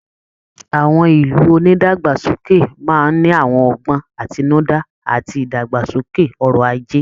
Àwọn ìlú onídàgbàsókè máa ń ní àwọn ọgbọ́n àtinúdá àti ìdàgbàsókè ọrọ̀ ajé